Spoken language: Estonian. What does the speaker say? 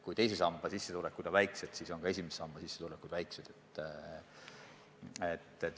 Kui teise samba sissetulekud on väiksed, siis on ka esimese samba sissetulekud väiksed.